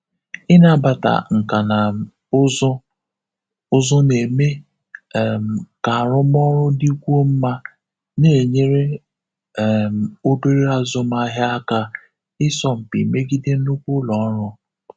Ịnabata nkà na um ụzụ ụzụ na-eme um ka arụmọrụ dikwuo mma, na-enyere um obere azụmahia aka ịsọ mpi megide nnukwu ụlọ ọrụ.